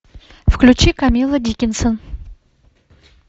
включи камилла дикинсон